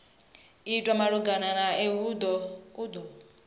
itwa malugana nae u do